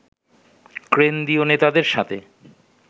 কেন্দ্রীয় নেতাদের সাথে